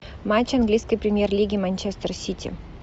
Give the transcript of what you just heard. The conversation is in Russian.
матч английской премьер лиги манчестер сити